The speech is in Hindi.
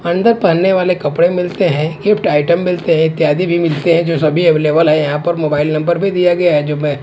अंदर पहने वाले कपड़े मिलते हैं गिफ्ट आइटम मिलते हैं इत्यादि भी मिलते हैं जो सभी अवेलेबल हैं यहां पर मोबाईल नंबर भी दिया गया है जो मे--